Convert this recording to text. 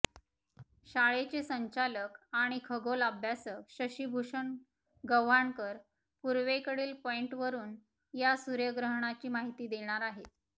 शाळेचे संचालक आणि खगोल अभ्यासक शशीभूषण गव्हाणकर पूर्वेकडील पॉइंटवरून या सूर्यग्रहणाची माहिती देणार आहेत